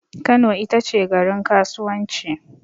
Kano itace garin kasuwanci